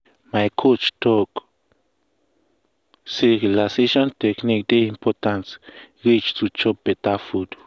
my coach talk say relaxation technique dey important reach to chop beta food.